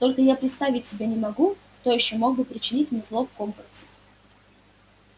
только я представить себе не могу кто ещё мог бы причинить мне зло в хогвартсе